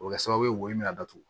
O bɛ kɛ sababu ye wo i bɛna datugu